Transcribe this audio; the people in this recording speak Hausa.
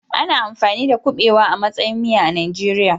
Ana amfani da kuɓewa a matsayin miya a Najeriya.